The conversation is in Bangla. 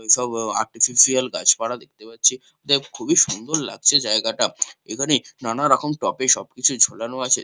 এই সব আর্টিফিশিয়াল গাছপালা দেখতে পাচ্ছি যাইহোক খুবই সুন্দর লাগছে জায়গাটা এখানে নানারকম টফি সবকিছু ঝোলানো আছে ।